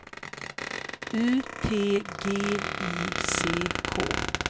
U T G I C K